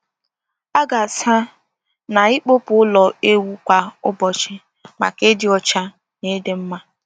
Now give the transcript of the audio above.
A ga-asa na ịkụpụ ụlọ ewu kwa ụbọchị maka ịdị ọcha na ịdị mma.